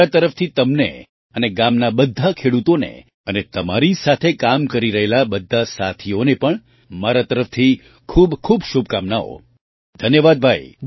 મારી તરફથી તમને અને ગામના બધા ખેડૂતોને અને તમારી સાથે કામ કરી રહેલા બધા સાથીઓને પણ મારા તરફથી ખૂબ ખૂબ શુભકામનાઓ ધન્યવાદ ભાઈ